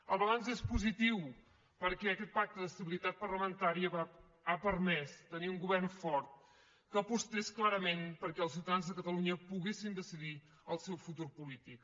el balanç és positiu perquè aquest pacte d’estabilitat parlamentària ha permès tenir un govern fort que apostés clarament perquè els ciutadans de catalunya poguessin decidir el seu futur polític